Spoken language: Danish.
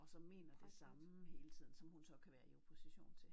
Og som mener det samme hele tiden som hun så kan være i opposition til